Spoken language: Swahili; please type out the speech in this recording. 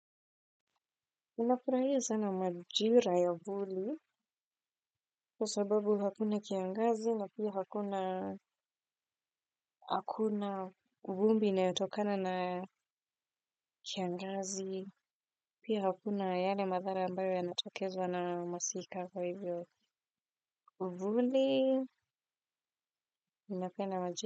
Ninafurahia sana majira ya vuli kwa sababu hakuna kiangazi na pia hakuna vumbi inayotokana na kiangazi, pia hakuna yale madhara ambayo yanatokezwa na masika kwa hivyo uvuli, ninapenda majira.